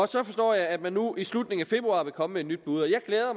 så forstår jeg at man nu i slutningen af februar vil komme med et nyt bud jeg glæder